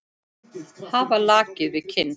Hafa lakið við kinn.